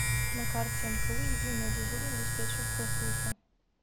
на карте мку единая дежурно диспетчерская служба